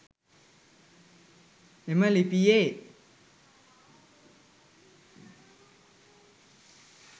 එම ලිපියේ